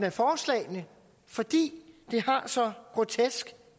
af forslagene fordi de har så grotesk